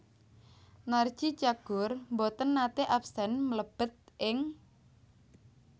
Narji Cagur mboten nate absen mlebet ing